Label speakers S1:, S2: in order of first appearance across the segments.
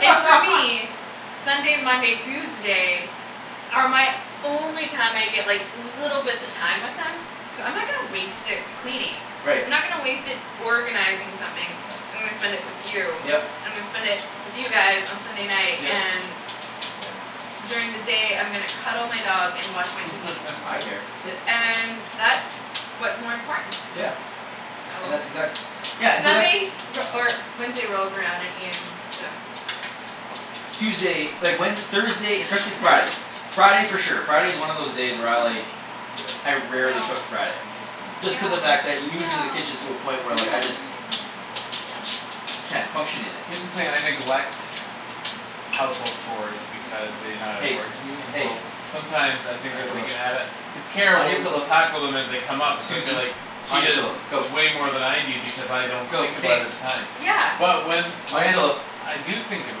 S1: And for me Sunday, Monday, Tuesday are my only time I get, like little bits of time with him so I'm not gonna waste it cleaning.
S2: Right.
S1: I'm not gonna waste it organizing something. I'm
S3: Yeah.
S1: gonna spend it with you.
S2: Yep.
S1: I'm gonna spend it with you guys on Sunday night
S2: Yep.
S1: and
S3: Yeah.
S1: during the day I'm gonna cuddle my dog and watch my TV.
S2: Hi, there, sit.
S1: And that's what's more important to me.
S3: Yeah.
S2: Yeah.
S1: So.
S2: And that's exact- Yeah, and so that's
S1: Sunday re- or Wednesday rolls around and Ian's
S3: Yeah.
S1: just
S2: Tuesday, like, when, Thursday, especially
S1: Hi.
S2: Friday Friday for sure. Friday is one of those day where I, like
S3: Yeah.
S2: I rarely
S1: No.
S2: cook Friday.
S3: Interesting.
S2: Just cuz
S1: No,
S2: the fact that
S1: no,
S2: usually
S1: no,
S2: the kitchen is to a
S1: no,
S3: Yeah.
S2: point where,
S1: no,
S2: like, I just
S1: no, no, no. Down.
S2: can't function in it.
S3: Here's the thing; I neglect household chores because they not
S2: Hey,
S3: important to me and
S2: hey.
S3: so sometimes I
S2: On
S3: think
S2: your
S3: that they
S2: pillow,
S3: can add a cuz Kara
S2: on your
S3: will, will
S2: pillow.
S3: tackle them as they come up and so I feel like
S2: Susie.
S3: she
S2: On your
S3: does
S2: pillow, go.
S3: way more than I do because I don't
S2: Go.
S3: think about it
S2: Hey.
S3: at the time.
S1: Yeah.
S3: But when,
S2: On your
S3: when
S2: pillow.
S3: I do think of it,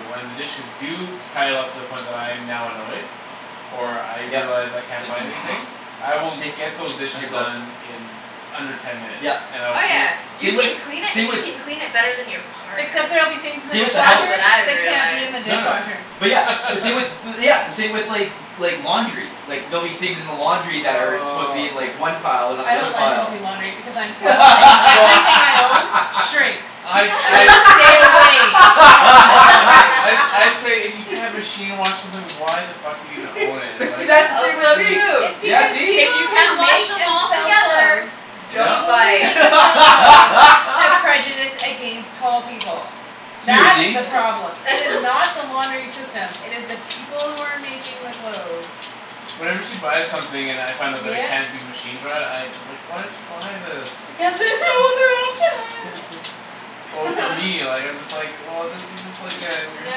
S3: when the dishes do pile up to the point when I'm now annoyed or I
S2: Yep,
S3: realize I can't
S2: same
S3: find
S2: thing.
S3: anything I will get those
S2: Hey, on
S3: dishes
S2: your pillow.
S3: done in under ten minutes
S2: Yep,
S3: and I will
S1: Oh,
S3: clean
S1: yeah. You
S2: same with,
S1: can clean it
S2: same
S1: and you
S2: with
S1: can clean it better than your partner.
S4: Except there'll be things in the
S2: same with the
S1: That's
S2: house.
S1: what
S4: dishwasher
S1: I
S4: that can't be in
S1: realized.
S4: the
S2: No, no.
S4: dishwasher.
S2: But yeah, the same with bu- yeah, the same with, like like, laundry. Like, there'll be things in the laundry that are supposed to be in,
S3: Aw
S2: like, one pile and not
S4: I
S2: the other
S4: don't let him
S2: pile.
S4: do laundry because I'm tall and
S3: Well
S4: everything I own shrinks.
S3: I,
S4: I'm
S3: I
S4: like, "Stay away from the laundry."
S3: I sa- I say, "If you can't machine wash something why the fuck are you gonna own it?"
S2: But see,
S3: Like
S2: that's the same
S1: Also
S2: with
S1: true
S4: It's
S2: me. Yeah,
S4: because
S2: see?
S1: if
S4: people
S1: you can't
S4: who
S1: wash
S4: make
S1: them
S4: and
S1: all
S4: sell
S1: together.
S4: clothes
S1: Don't
S2: No.
S4: people
S1: buy
S4: who make
S1: it.
S4: and sell clothes have prejudice against tall people. That is
S2: Susie.
S4: the problem. It is not the laundering system; it is the people who are making the clothes.
S3: Whenever she buys something and I find out that it
S4: Yep.
S3: can't be machine-dried, I just, like, "Why did you buy this?"
S4: Because there's no other option.
S3: Well, for me, like, I'm just like, "Well, this is just, like, uh we're gonna have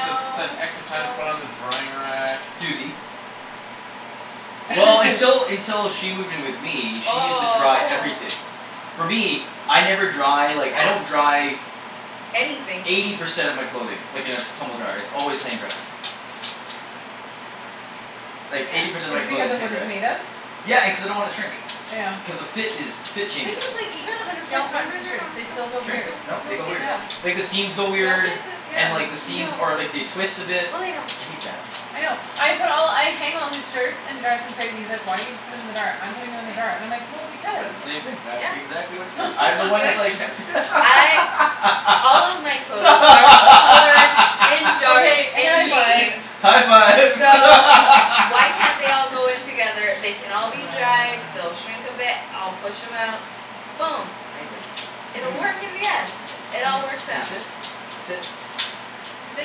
S3: to spend extra time to put it
S1: no.
S3: on the drying rack."
S2: Susie.
S1: See
S2: Well, until, until she moved in with me, she used to dry
S1: Oh, oh.
S2: everything. For me, I never dry, like, I don't
S1: Yeah.
S2: dry
S1: Anything.
S2: eighty percent of my clothing like, in a tumble dryer; its always hang-dried. Like, eighty
S1: Yeah.
S2: percent
S4: Is
S2: of
S4: it
S2: my
S4: because
S2: clothing is
S4: of what it's made of?
S2: hang-dried. Yeah, and cuz I don't wanna shrink.
S4: Yeah.
S2: Cuz the fit is, the fit
S4: Thing
S2: changes.
S4: is, like, even a hundred
S1: Nope,
S4: percent
S1: no,
S4: cotton
S1: no, no,
S4: t-shirts,
S1: no. Don't,
S4: they still go
S2: Shrink.
S4: weird.
S1: don't,
S2: No,
S1: no
S2: they go weird.
S1: kisses.
S4: Yeah.
S2: Like the seams go
S1: No
S2: weird
S1: kisses.
S4: Yeah.
S2: and, like, the seams,
S1: No.
S2: or, like, they twist a bit.
S1: Go lay down.
S2: I hate that.
S4: I know. I put all, I hang all his shirts, and it drives him crazy; he's like, "Why don't you just put them in the dryer? I'm putting them in the dryer" and I'm like, "Well,
S2: S-
S4: because."
S2: that's the same thing; that
S1: Yeah, yeah.
S2: exactly what you do. I'm the one
S1: Be
S2: that's like
S1: like
S2: ha-
S1: I All of my clothes are colored and dark
S4: Okay,
S1: and
S4: high five.
S1: jeans.
S2: High five.
S1: So why can't they all go in together? They can all be dried,
S2: Ah.
S1: they'll shrink a bit, I'll push 'em out. Boom.
S2: Hi, bear,
S1: It'll
S2: come
S1: work
S2: here.
S1: in the end. It all
S2: Come here.
S1: works
S2: Can you
S1: out.
S2: sit? Sit.
S4: They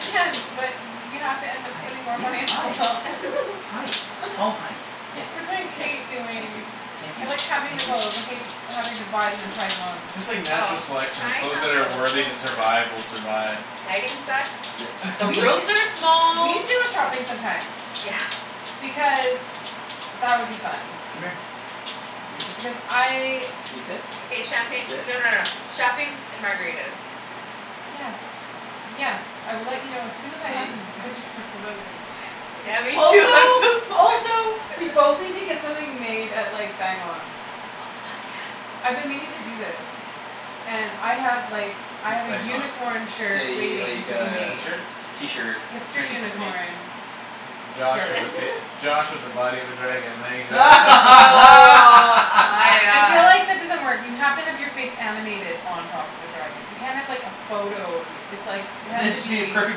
S2: Good girl.
S4: but you have to end up
S2: Hi,
S4: spending more
S2: yeah,
S4: money on
S2: hi.
S4: clothes.
S2: Hi, oh, hi. Yes,
S4: Which I hate
S2: yes, thank
S4: doing.
S2: you. Thank
S4: I
S2: you,
S4: like having the
S2: thank you.
S4: clothes. I hate having to buy them and try them on.
S3: It's just like
S1: Oh,
S3: natural selection; the
S1: tying
S3: clothes
S1: on
S3: that are
S1: toes is the
S3: worthy to
S1: worst.
S3: survive will survive.
S1: Lighting sucks.
S2: Sit.
S1: The
S4: We,
S1: rooms are
S4: we
S1: small,
S4: need to go
S1: it
S4: shopping some time.
S1: Yeah.
S4: Because that would be fun.
S2: Come here.
S4: Because I
S2: Can you sit?
S1: Okay, champagne,
S2: Sit.
S1: no, no, no, shopping and margaritas.
S2: Good girl.
S4: Yes. Yes, I will let you know as soon as I have
S2: Hey.
S4: a budget for clothing.
S1: Yeah, me too. I'm so
S4: Also,
S1: poor.
S4: also we both need to get something made at, like Bang On.
S1: Oh, fuck,
S4: I've
S1: yes.
S4: been meaning to do this. And I have, like I
S3: What's
S4: have a
S3: Bang On?
S4: unicorn shirt
S2: Say,
S4: waiting
S2: like
S4: to be
S2: uh,
S4: made.
S3: t-shirts?
S2: t-shirt
S4: Hipster
S2: printing company.
S4: unicorn
S3: It's Josh
S4: shirt.
S3: with a fac- it's Josh with a body of a dragon, there you go.
S1: Oh, my
S4: I feel
S1: god.
S4: like that doesn't work. You have to have your face animated on top of a dragon. You can't have like a photo of you. It's like, it has
S2: Then
S4: to
S2: it should be a
S4: be
S2: perfect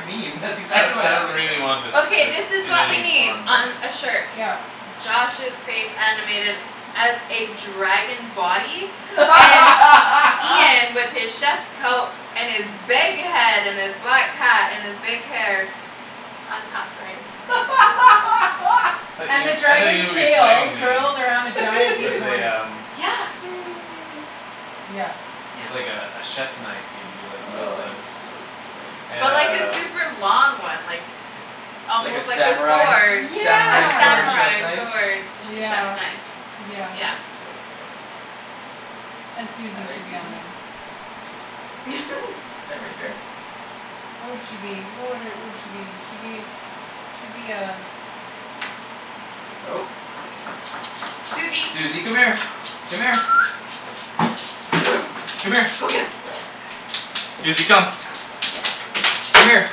S2: meme; that's
S3: I don-
S2: exactly what
S3: I don't
S2: happens.
S3: really want this,
S1: Okay,
S3: this
S1: this is
S3: in
S1: what we
S3: any
S1: need
S3: form, really.
S1: on a shirt.
S4: Yep.
S1: Josh's face animated as a dragon body and Ian with his chef's coat and his big head and his black hat and his big hair on top riding his
S3: I thought
S4: And the
S3: you, I thought you would
S4: dragon's
S3: be
S4: tail
S3: fighting me,
S4: curled around a giant D
S3: with a
S4: twenty.
S3: um
S1: Yeah.
S4: Yeah.
S1: Yeah.
S3: with, like, a, a chiefs knife you'd be
S2: Oh,
S3: wielding.
S2: that's so funny.
S3: And
S1: But like a
S3: uh
S1: super long one, like
S2: Like a
S1: almost like a sword.
S2: samurai?
S1: A
S2: Samurai sword
S4: Yeah.
S2: chef's
S1: samurai
S2: knife?
S1: sword. A che- chef's
S4: Yeah,
S1: knife,
S4: yeah.
S1: yeah.
S2: That's so funny.
S4: And
S2: All
S4: Susie should
S2: right,
S4: be on
S2: Susie.
S4: there.
S2: Is that right, bear?
S4: What would she be? What would her, would she be? She'd be she'd be a
S2: Oh.
S1: Susie.
S2: Susie, come here. Come here.
S1: Go.
S2: Come here.
S1: Go get 'em.
S2: Susie, come. Come here.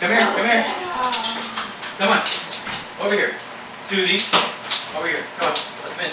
S2: Come here,
S1: Go
S2: come here.
S1: get 'em.
S2: Come on. Over here. Susie. Over here. Come on. Let them in.